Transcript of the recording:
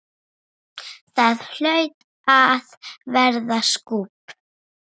Það hlaut að verða skúbb?